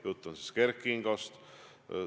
Jutt on Kert Kingost.